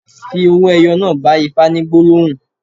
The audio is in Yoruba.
Fi owó ẹyọ náà bá Ifá ní gbólóhùn.